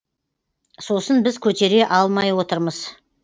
сосын біз көтере алмай отырмыз